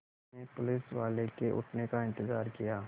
मैंने पुलिसवाले के उठने का इन्तज़ार किया